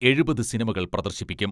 എഴുപത് സിനിമകൾ പ്രദർശിപ്പിക്കും.